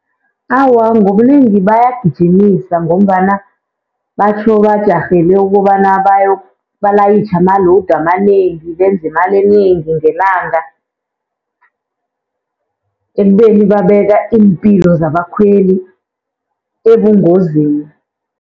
Awa, ngobunengi bayagijimisa ngombana batjho bajarhele ukobana balayitjhe ama-load amanengi. Benze imali enengi ngelanga, ekubeni babeka iimpilo zabakhweli ebungozini.